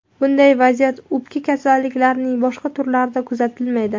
Bunday vaziyat o‘pka kasalliklarining boshqa turlarida kuzatilmaydi.